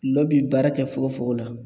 lɔ bi baara kɛ fogofogo la.